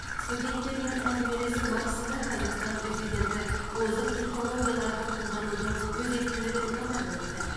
студенттермен әңгімелесу барысында қазақстан президенті озық технологияларды қолданудың өзектілігін атап өтті